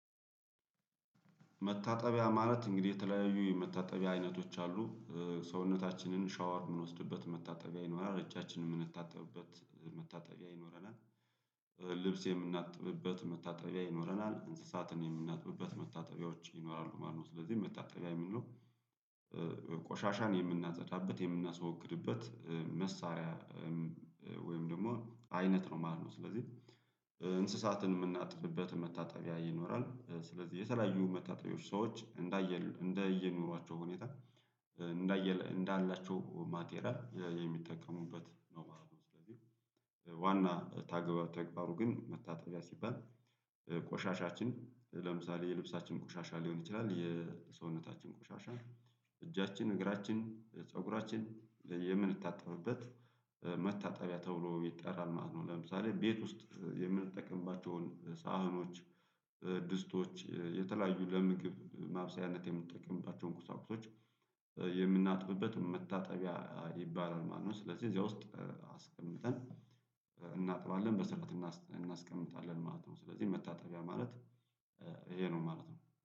መታጠቢያ ማለት እንግዲህ የተለያዩ የመታጠቢያ አይነቶች አሉ። ሰውነታችንን ሻወር የምንወስድበት መታጠቢያ ይኖራል፣ እጃችንን የምንታጠብበት መታጠቢያ ይኖረናል፣ ልብስ የምናጥብበት መታጠቢያ ይኖረናል፣ እንስሳትን የምናጥብበት መታጠቢያዎች ይኖራሉ ማለት ነው። ስለዚህ መታጠቢያ የሚለው ቆሻሻን የምናጸዳበት የምናስወግድበት መሳሪያ ወይም ደግሞ አይነት ነው ማለት ነው። ስለዚህ እንስሳትን የምናጥብበት መታጠቢያ ይኖራል ስለዚህ የተለያዩ መታጠቢያዎች ሰዎች እንዳየ እንደየ ኑሯቸው ሁኔታ እንዳየለ እንዳላቸው ማቴሪያል የሚጠቀሙበት ነው ማለት ነው። ዋና ተግባሩ ግን መታጠቢያ ሲባል ቆሻሻችን ለምሳሌ የልብሳችን ቆሻሻ ሊሆን ይችላል የሰውነታችን ቆሻሻ እጃችን፣ እግራችን፣ ፀጉራችን የምንታጠብበት መታጠቢያ ተብሎ ይጠራል ማለት ነው። ለምሳሌ ቤት ውስጥ የምንጠቀምባቸውን ሳህኖች፣ ድስቶች፣ የተለያዩ ለምግብ ማብሰያነት የምትጠቀምባቸውን ቁሳቁሶች የምናጥብበት መታጠቢያ ይባላል ማለት ነው። ስለዚህ እዚያ ውስጥ አስቀምጠን እናጥባለን፣ በስርዓት እናስቀምጣለን ማለት ነው። ስለዚህ መታጠቢያ ማለት ይሄ ነው ማለት ነው።